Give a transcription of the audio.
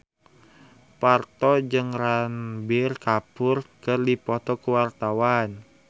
Parto jeung Ranbir Kapoor keur dipoto ku wartawan